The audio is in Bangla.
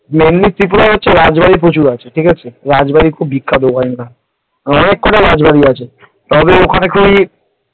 mainly ত্রিপুরায় হচ্ছে রাজবাড়ী প্রচুর আছে, , ঠিক আছে রাজবাড়ী খুব বিখ্যাত ওখানকার অনেক কটা রাজবাড়ি আছে তবে ওখানে কই পুরোটাই রাজবাড়ী ।